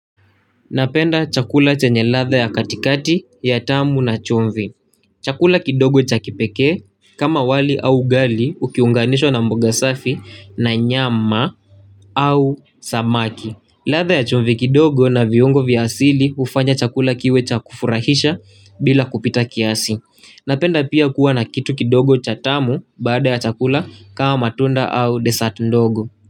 Napenda chakula chenye latha ya katikati ya tamu na chumvi. Chakula kidogo cha kipekee kama wali au ugali ukiunganishwa na mboga safi na nyama au samaki. Latha ya chumvi kidogo na viungo viasili ufanya chakula kiwe cha kufurahisha bila kupita kiasi. Napenda pia kuwa na kitu kidogo cha tamu baada ya chakula kama matunda au desat ndogo.